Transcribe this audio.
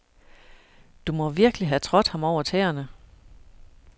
Du må virkelig have trådt ham over tæerne.